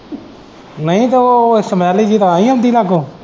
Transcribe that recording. ਨਹੀਂ ਤੇ ਉਹ ਸਮੇਲ ਜਿਹੀ ਤਾਂ ਹੀ ਆਉਂਦੀ ਲਾਗੋਂ।